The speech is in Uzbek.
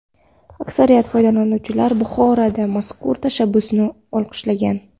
Aksariyat foydalanuvchilar Buxorodagi mazkur tashabbusni olqishlagan.